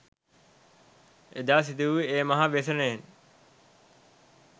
එදා සිදුවූ ඒ මහා ව්‍යසනයෙන්